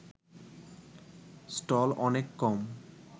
stall অনেক কম